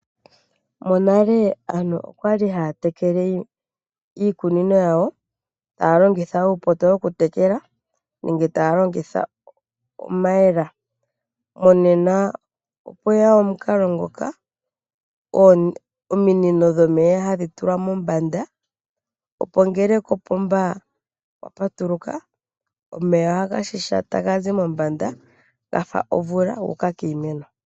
Monale aantu okwali haa tekele iikunino yawo taa longitha uupoto wo ku tekela nenge taa longitha omayela monena okwaya omukalo ngoka moka ominino dhomeya hadhi tulwa mombanda opo ngela kopomba kwa patuluka omeya ohaga shisha taga zi mombanda guuka kiimeno.